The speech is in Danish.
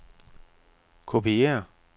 kopiér